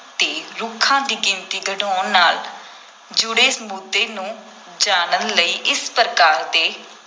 ‘ਤੇ ਰੁੱਖਾਂ ਦੀ ਗਿਣਤੀ ਘਟਾਉਣ ਨਾਲ ਜੁੜੇ ਮੁੱਦੇ ਨੂੰ ਜਾਣਨ ਲਈ ਇਸ ਪ੍ਰਕਾਰ ਦੇ